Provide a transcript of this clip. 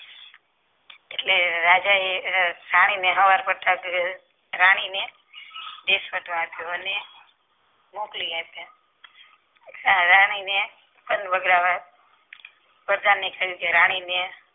એટલે રાજાએ રાણીને રાણીને રાખ્યો અને મોકલી આપ્યા આ રાણીને વન વગડા કહ્યું કે રાણી ને